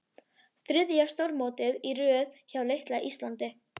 Þriðja stórmótið í röð hjá litla Íslandi?